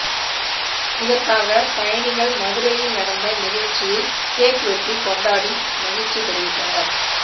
இதற்காக பயணிகள் மதுரையில் நடந்த நிகழ்ச்சியில் கேக் வெட்டி கொண்டாடி மகிழ்ச்சி தெரிவித்தனர்